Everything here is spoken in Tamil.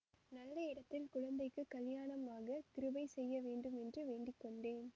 நல்ல இடத்தில் குழந்தைக்குக் கலியாணம் ஆக கிருபை செய்யவேண்டும் என்று வேண்டி கொண்டேன்